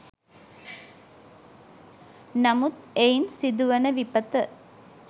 නමුත් එයින් සිදුවන විපත